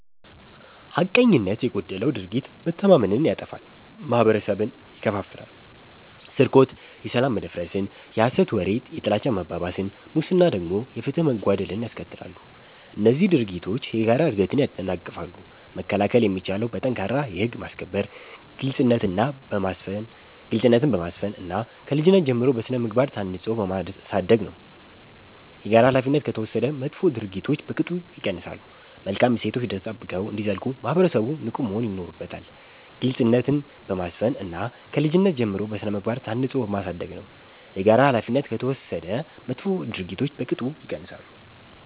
ሐቀኝነት የጎደለው ድርጊት መተማመንን ያጠፋል፤ ማህበረሰብን ይከፋፍላል። ስርቆት የሰላም መደፍረስን፣ የሐሰት ወሬ የጥላቻ መባባስን፣ ሙስና ደግሞ የፍትህ መጓደልን ያስከትላሉ። እነዚህ ድርጊቶች የጋራ እድገትን ያደናቅፋሉ። መከላከል የሚቻለው በጠንካራ የህግ ማስከበር፣ ግልጽነትን በማስፈን እና ከልጅነት ጀምሮ በሥነ-ምግባር ታንጾ በማሳደግ ነው። የጋራ ኃላፊነት ከተወሰደ መጥፎ ድርጊቶች በቅጡ ይቀንሳሉ። መልካም እሴቶች ተጠብቀው እንዲዘልቁ ማህበረሰቡ ንቁ መሆን ይኖርበታል። ግልጽነትን በማስፈን እና ከልጅነት ጀምሮ በሥነ-ምግባር ታንጾ በማሳደግ ነው። የጋራ ኃላፊነት ከተወሰደ መጥፎ ድርጊቶች በቅጡ ይቀንሳሉ።